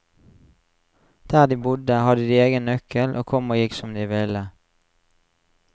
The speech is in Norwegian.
Der de bodde, hadde de egen nøkkel og kom og gikk som de ville.